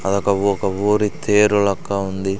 అదొక ఒక ఊరి తేరు లెక్క ఉంది.